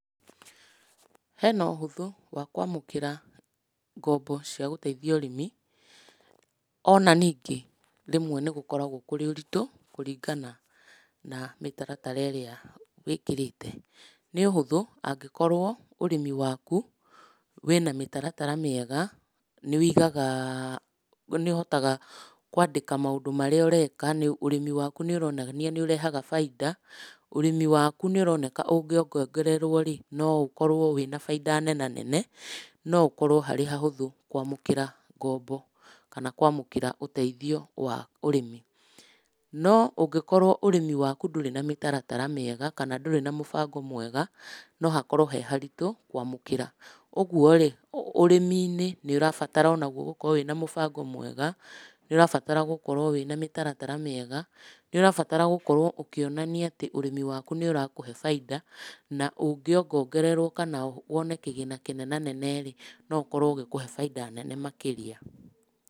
Hena ũhũthũ wa kwamũkĩra ngombo cia gũtheitia ũrĩmi, ona ningĩ, rĩmwe nĩgũkoragwo kũrĩ ũritũ kũringana na mĩtaratara ĩrĩa wĩkĩrĩte. Nĩ ũhũthũ angĩkorwo ũrĩmi wakũ wĩna mĩtaratara mĩega, nĩwĩigaga nĩũhotaga kwandĩka maũndũ marĩa ũreka, ũrĩmi waku nĩũronania nĩũrehaga bainda. Ũrĩmi waku nĩũroneka ũnĩongongererwo-rĩ, no ũkorwo wĩna bainda nenanene, no ũkorwo harĩ hahũthũ kwamũkĩra ngombo, kana kwamũkĩra ũteithio wa ũrĩmi. No ũngĩkorwo ũrĩmi waku ndũrĩ na mĩtaratara mĩega, kana ndũrĩ na mũbango mwega, no hakorwo he haritũ kwamũkĩra. Ũguo-rĩ, ũrĩmi-inĩ nĩũrabatara onaguo gũkorwo wĩna mũbango mwega, nĩũrabatara gũkorwo wĩna mĩtaratara mĩega, nĩũrabatara gũkorwo ũkĩonania atĩ ũrĩmi waku nĩũrakũhe bainda, na ũngĩongongererwo kana wone kĩgĩna kĩnenanene-rĩ, no ũkorwo ũgĩkũhe bainda nene makĩria.